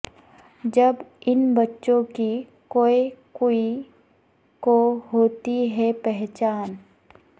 جب ان بچوں کی کوے کوی کو ہو تی ہے پہچان